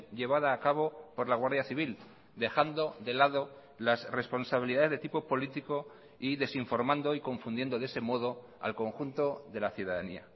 llevada a cabo por la guardia civil dejando de lado las responsabilidades de tipo político y desinformando y confundiendo de ese modo al conjunto de la ciudadanía